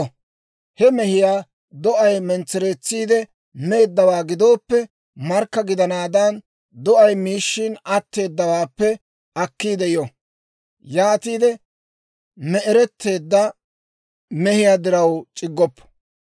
He mehiyaa do'ay mentsereetsiide meeddawaa gidooppe, markka gidanaadan do'ay miishshin atteedawaappe akkiide yo; yaatiide me'eretteedda mehiyaa diraw c'iggoppo.